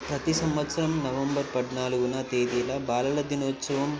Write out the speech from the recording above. ప్రతి సంవత్సరం నవంబర్ పద్నాలుగున తేదీన బాలల దినోత్సవం--